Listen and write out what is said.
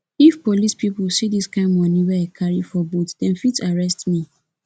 if police pipu see dis kind moni wey i carry for boot dem fit arrest me